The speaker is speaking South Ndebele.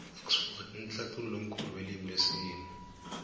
idxford mhlathului omkhulu welimu lesiyeni